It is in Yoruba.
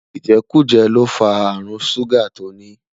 ijekuje l'ofa àrùn ṣuga tóní